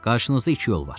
Qarşınızda iki yol var.